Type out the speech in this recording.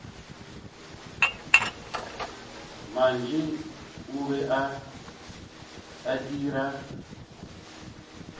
mantši o be a itira